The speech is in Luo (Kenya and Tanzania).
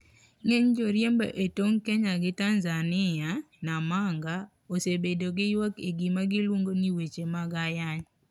Ng'eny joriembo e tong Kenya gi Tanzania, Namanga, osebedo gi yuak e gima giluongo ni weche mad ayany.